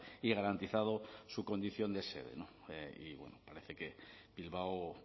y garantizado su condición de sede y bueno parece que bilbao